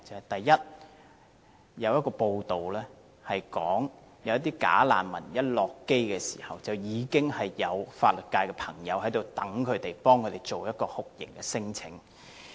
第一，有報道指出一些"假難民"甫下機，便已有法律界人士在場等候，替他們提出酷刑聲請。